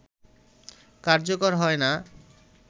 কার্যকর হয়